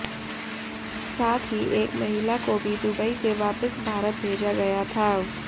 साथ ही एक महिला को भी दुबई से वापिस भारत भेजा गया था